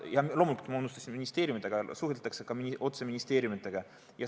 Ma unustasin, et suheldakse ka otse ministeeriumidega.